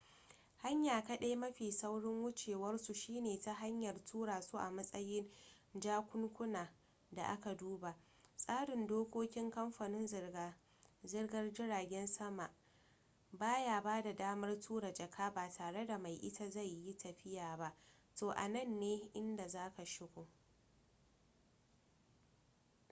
hanya kaɗai mafi saurin wucewarsu shine ta hanyar tura su a matsayin jakunkunan da aka duba tsarin dokokin kamfunan zirga-zirgar jiragen sama ba ya bada damar tura jaka ba tare da mai ita zai yi tafiya ba to anan ne inda za ka shigo